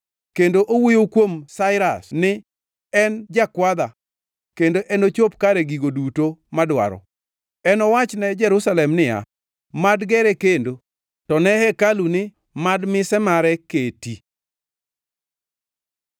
kendo owuoyo kuom Sairas ni, ‘En jakwadha kendo enochop kare gigo duto madwaro; enowachne Jerusalem niya, “Mad gere kendo,” to ne hekalu ni, “Mad mise mare keti.” ’”